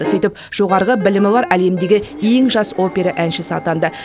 сөйтіп жоғарғы білімі бар әлемдегі ең жас опера әншісі атанды